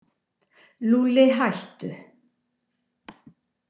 Lúlli, hættu.